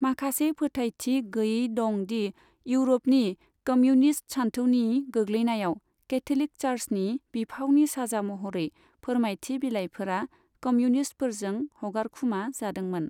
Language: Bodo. माखासे फोथायथि गैयै दं दि इउरपनि कमिउनिस्त सानथौनि गोग्लैनायाव कैथलिक चार्चनि बिफावनि साजा महरै फोरमायथि बिलायफोरा कमिउनिस्तफोरजों हगारखुमा जादोंमोन।